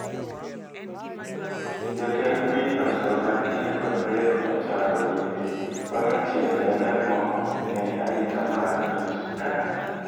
Jatend pinyno Salva Kiir kod Riek Machar oyie ni, mano tiende en ang'o ne arita mar piny Sudan?